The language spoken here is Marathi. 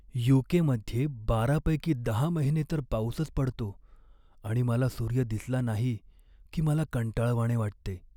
यू.के.मध्ये बारा पैकी दहा महिने तर पाऊसच पडतो आणि मला सूर्य दिसला नाही की मला कंटाळवाणे वाटते.